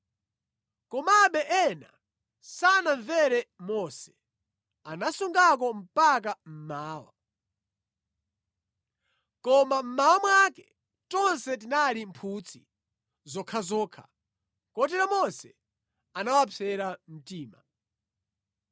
Komabe ena sanamvere Mose, anasungako mpaka mmawa. Koma mmawa mwake tonse tinali mphutsi zokhazokha. Kotero Mose anawapsera mtima.